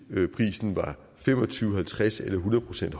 prisen var fem og tyve halvtreds eller hundrede procent